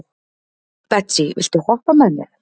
Betsý, viltu hoppa með mér?